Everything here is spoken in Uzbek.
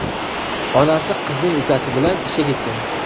Onasi qizning ukasi bilan ishga ketgan.